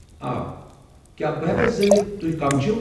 آ، کیٚا بہٕ ہٮ۪کا زٲنتھ تُہۍ کم چھو؟